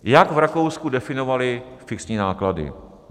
Jak v Rakousku definovali fixní náklady?